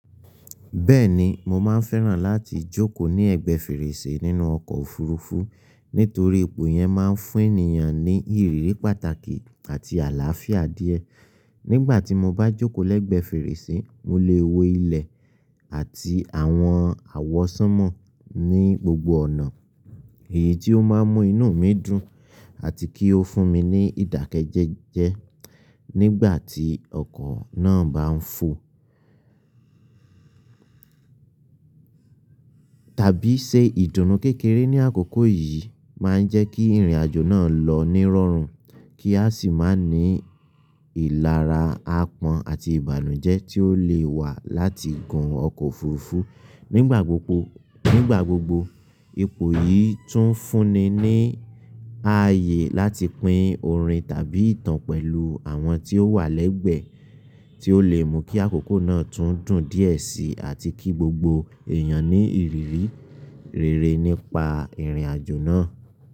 Bẹ́ẹ̀ni, mo máa ń fẹ́ràn láti jókòó ní ẹ̀gbẹ́ fèrèsé nínú ọkọ̀ òfurufú nítorí ipò yẹn máa ń fún ènìyàn ní ìrírí pàtàkì àti àlàáfíà díẹ̀. Nígbà tí mo bá jókòó lẹ́gbẹ̀ẹ́ fèrèsé, mo lè wo ilẹ̀ àti àwọn àwọsánmọ̀ ní gbogbo ọ̀nà, èyí tí ó máa ń mú inú mi dùn àti kí ó fún mi ní ìdákẹ́jẹ́jẹ́ nígbà tí ọkọ̀ náà bá ń fò. Tàbí ṣe ìdùnnú kékeré ní àkókò yìí máa ń jẹ́ kí ìrìnàjò náà lọ ní rọrùn kí a sì máa ní ìlara àpọ́n àti ìbànújẹ́ tí ó lè wà láti gun ọkọ̀ òfurufú nigba gbogbo Nígbà gbogbo, ipò yìí tún ń fúnni ní ààyè láti pín orin tàbí ìtàn pẹ̀lú àwọn tí ó wà lẹ́gbẹ̀ẹ́, tí ó lè mú kí àkókò náà tún dùn díẹ̀ síi àti kí gbogbo èèyàn ní ìrírí rere nípa ìrìnàjò náà.